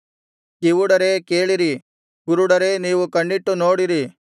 ಕಿವುಡರೇ ಕೇಳಿರಿ ಕುರುಡರೇ ನೀವು ಕಣ್ಣಿಟ್ಟು ನೋಡಿರಿ